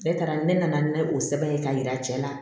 Ne taara ne nana ni o sɛbɛn ye ka yira cɛ la